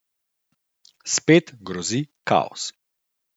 Spet grozi kaos.